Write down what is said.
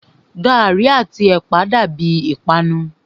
Gàrí àti ẹ̀pà dàbíi ìpanu.